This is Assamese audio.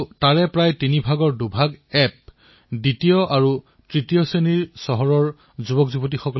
আপোনালোকে এয়া জানি আচৰিত হব যে বিশ্ব পুতলা উদ্যোগৰ মূল্য ৭ লাখ কোটি টকাতকৈও অধিক